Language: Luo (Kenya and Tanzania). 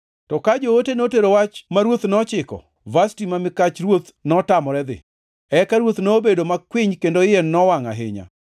To ka joote notero wach ma ruoth nochiko, Vashti ma mikach ruoth notamore dhi. Eka ruoth nobedo makwiny kendo iye nowangʼ ahinya.